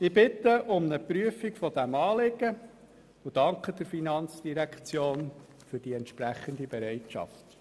Ich bitte um eine Prüfung dieses Anliegens und danke der Finanzdirektion für die entsprechende Bereitschaft.